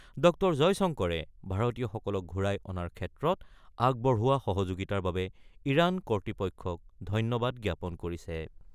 ড জয়শংকৰে ভাৰতীয়সকলক ঘূৰাই অনাৰ ক্ষেত্ৰত আগবঢ়োৱা সহযোগিতাৰ বাবে ইৰান কৰ্তৃপক্ষক ধন্যবাদ জ্ঞাপন কৰিছে।